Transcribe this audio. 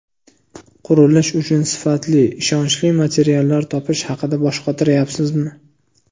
Qurilish uchun sifatli, ishonchli materiallar topish haqida bosh qotiryapsizmi?